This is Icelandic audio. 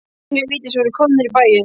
Englar vítis voru komnir í bæinn.